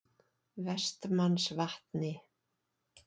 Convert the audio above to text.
Vestmannsvatni